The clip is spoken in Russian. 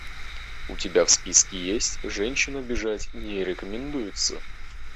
у тебя в списке есть женщин обижать не рекомендуется